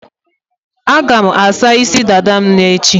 A ga m asa isi dada m n'echi